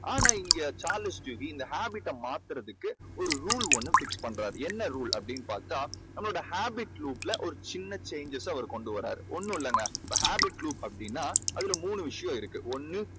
ஆனால் இங்கே Charles Duhigg இந்த habit டை மாத்துறதுக்கு ஒரு rule ஒண்ணு fix பண்றாரு. என்ன rule அப்படீன்னு பார்த்தா நம்மளோட habit group ல ஒரு சின்ன changes அ அவர் கொண்டு வராரு. ஒன்னும் இல்லைங்க இப்போ habit group அப்படீன்னா அதுல மூணு விஷயம் இருக்கு. ஒண்ணு